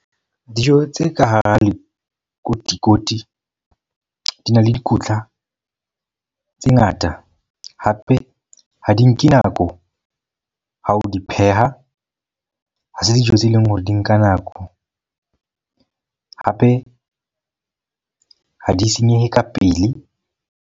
Dijo tse ka hara lekotikoti di na le dikotla tse ngata. Hape ha di nke nako ha o di pheha. Ha se tse dijo tse leng hore di nka nako. Hape ha di senyehe ka pele.